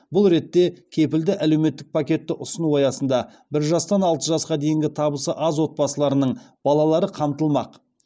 бұл ретте кепілді әлеуметтік пакетті ұсыну аясында бір жастан алты жасқа дейінгі табысы аз отбасыларының балалары қамтылмақ